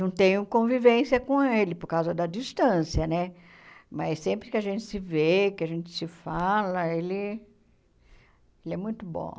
Não tenho convivência com ele por causa da distância né, mas sempre que a gente se vê, que a gente se fala, ele ele é muito bom.